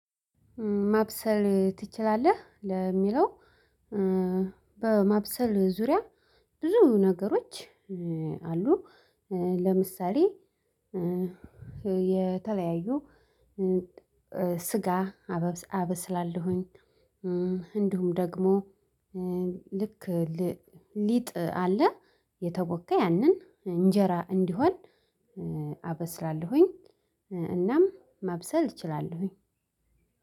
ማብሰል ትችላለህ? ለሚለው በማብሰል ዙሪያ ብዙ ነገሮች አሉ። ለምሳሌ የተለያዩ ስጋ አበብ አበስላለሁኝ። እንዲሁም ደግሞ ልክ ሊጥ አለ። የተቦካ ያንን እንጀራ እንዲሆን አበስላለሁኝ። እናም ማብሰል እችላለሁኝ።